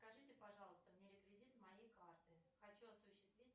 скажите пожалуйста мне реквизиты моей карты хочу осуществить